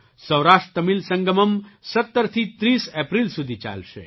Saurashtra Tamil Sangamam ૧૭થી ૩૦ April સુધી ચાલશે